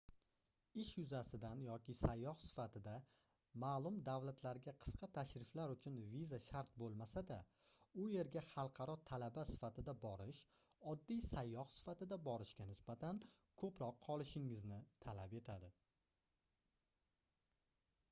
ish yuzasidan yoki sayyoh sifatida maʼlum davlatlarga qisqa tashriflar uchun viza shart boʻlmasa-da u yerga xalqaro talaba sifatida borish oddiy sayyoh sifatida borishga nisbatan koʻproq qolishingizni talab etadi